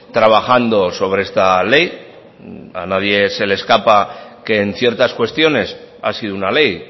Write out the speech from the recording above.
trabajando sobre esta ley a nadie se le escapa que en ciertas cuestiones ha sido una ley